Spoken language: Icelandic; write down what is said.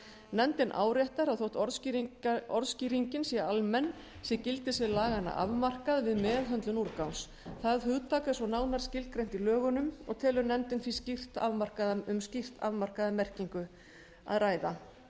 nefndin áréttar að þótt orðskýringin sé almenn sé gildissvið laganna afmarkað við meðhöndlun úrgangs það hugtak er svo nánar skilgreint í lögunum og telur nefndin því um skýrt afmarkaða merkingu að ræða